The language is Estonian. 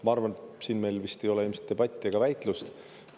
Ma arvan, et selle üle meil vist ei ole debatti ega väitlust.